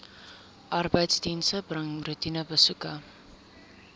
arbeidsdienste bring roetinebesoeke